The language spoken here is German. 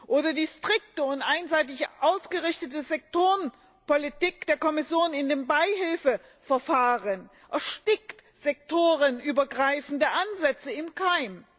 Oder die strikte und einseitig ausgerichtete Sektorenpolitik der Kommission in den Beihilfeverfahren erstickt sektorenübergreifende Ansätze im Keim.